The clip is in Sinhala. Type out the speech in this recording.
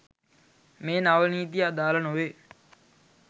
මේ නව නීතිය අදාළ නොවේ